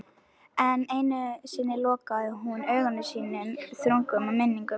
Enn einu sinni lokaði hún augum sínum þrungnum minningum.